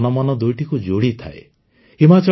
ମେଳା ଜନମନ ଦୁଇଟିକୁ ଯୋଡ଼ିଥାଏ